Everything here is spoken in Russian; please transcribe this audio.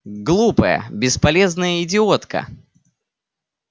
глупая бесполезная идиотка